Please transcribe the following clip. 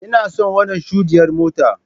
Ina son wannan shudiyyar mota.